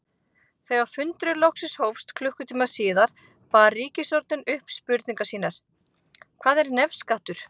Þegar fundurinn loksins hófst klukkutíma síðar bar ritstjórnin upp spurningar sínar: Hvað er nefskattur?